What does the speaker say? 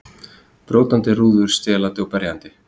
Brjótandi rúður, stelandi og berjandi.